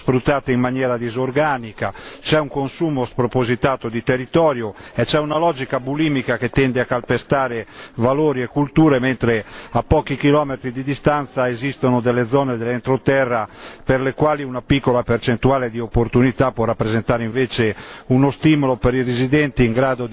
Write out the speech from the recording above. Le fasce costiere sono troppo spesso sfruttate in maniera disorganica, c'è un consumo spropositato di territorio e c'è una logica bulimica che tende a calpestare valori e culture, mentre a pochi chilometri di distanza esistono zone dell'entroterra per le quali una piccola percentuale di opportunità può rappresentare invece